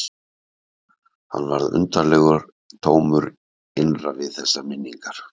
Hann varð undarlega tómur innra við þessar minningar.